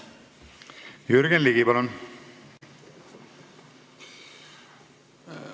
Jürgen Ligi, palun!